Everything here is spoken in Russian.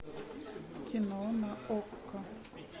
кино на окко